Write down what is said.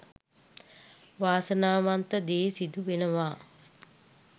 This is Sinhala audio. වාසනාවන්ත දේ සිදු වෙනවා.